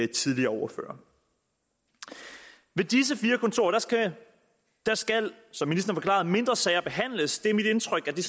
tidligere ordførere ved disse fire kontorer skal skal som ministeren mindre sager behandles det er mit indtryk at det